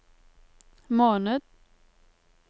måned